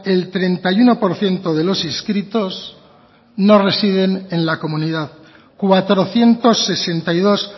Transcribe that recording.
el treinta y uno por ciento de los inscritos no residen en la comunidad cuatrocientos sesenta y dos